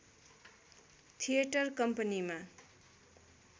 theatre कम्पनीमा